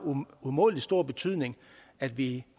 umådelig stor betydning at vi